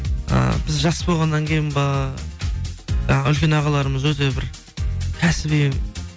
ы біз жас болғаннан кейін ба жаңа үлкен ағаларымыз өте бір кәсіби